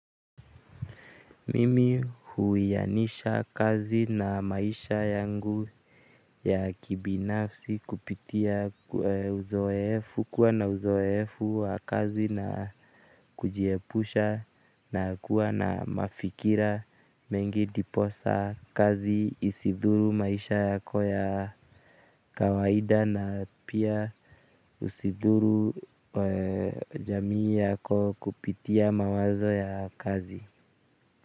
Mimi huwianisha kazi na maisha yangu ya kibinafsi kupitia uzoefu kuwa na uzoefu wa kazi na kujiepusha na kuwa na mafikira mengi ndiposa kazi isidhuru maisha yako ya kawaida na pia usidhuru jamii yako kupitia mawazo ya kazi.